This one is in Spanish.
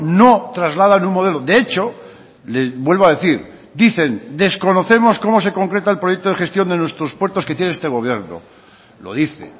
no trasladan un modelo de hecho vuelvo a decir dicen desconocemos cómo se concreta el proyecto de gestión de nuestros puertos que tiene este gobierno lo dice